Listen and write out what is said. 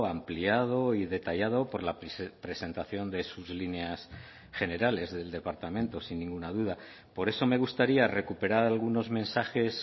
ampliado y detallado por la presentación de sus líneas generales del departamento sin ninguna duda por eso me gustaría recuperar algunos mensajes